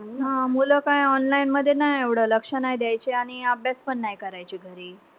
हा मुलं काय online मध्ये नाई एवढं लक्ष नाई द्यायचे आणि अभ्यास पण नाई करायचे घरी.